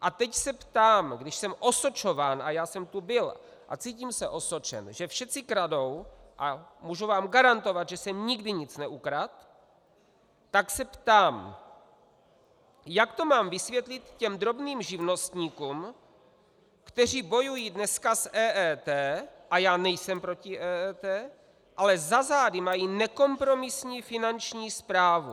A teď se ptám, když jsem osočován, a já jsem tu byl a cítím se osočen, že všetci kradou, a můžu vám garantovat, že jsem nikdy nic neukradl, tak se ptám, jak to mám vysvětlit těm drobným živnostníkům, kteří bojují dneska s EET, a já nejsem proti EET, ale za zády mají nekompromisní Finanční správu.